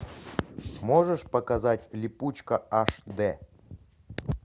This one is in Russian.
можешь показать липучка аш д